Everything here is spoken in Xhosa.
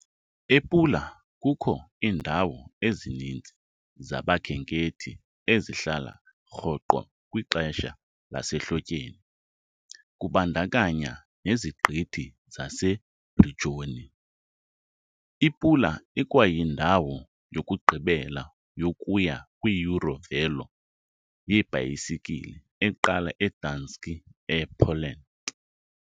EPula kukho iindawo ezininzi zabakhenkethi ezihlala rhoqo kwixesha lasehlotyeni, kubandakanya neziqithi zaseBrijuni. IPula ikwayindawo yokugqibela yokuya kwi-EuroVelo 9 yebhayisikile, eqala eGdańsk, ePoland.